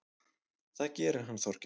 Það gerir hann Þorgeir.